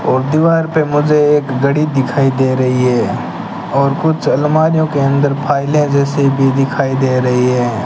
और दीवार पे मुझे एक घड़ी दिखाई दे रही है और कुछ अलमारियों के अंदर फाइलें जैसे भी दिखाई दे रही हैं।